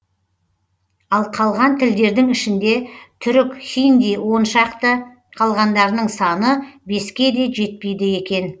ал қалған тілдердің ішінде түрік хинди он шақты қалғандарының саны беске де жетпейді екен